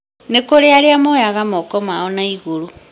nĩkurĩ arĩa moyaga moko mao naigũrũrũ